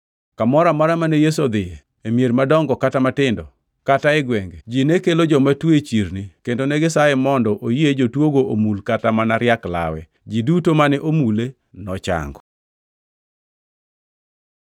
Kamoro amora mane Yesu odhiye; e mier madongo kata matindo kata e gwenge, ji ne kelo joma tuo e chirni kendo negisaye mondo oyie jotuogo omul kata mana riak lawe. Ji duto mane omule nochango.